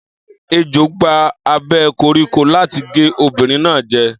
Ejò gba abẹ́ koríko láti gé obìnrin náà jẹ.